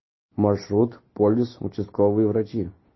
маршрут полис участковые врачи